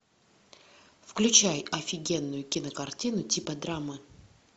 включай офигенную кинокартину типа драмы